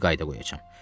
Belə bir qayda qoyacam.